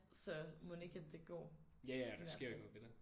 Så mon ikke at det går i hvert fald